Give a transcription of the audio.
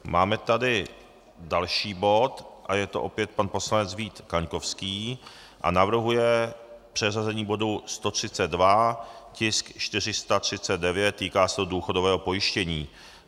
Máme tady další bod a je to opět pan poslanec Vít Kaňkovský a navrhuje přeřazení bodu 132, tisk 439, týká se to důchodového pojištění.